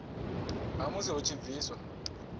ha musi hu tshi bviswa